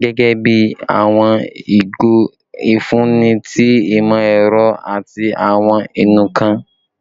gẹgẹbi awọn igo ifunni ti imọ-ẹrọ ati awọn inunkan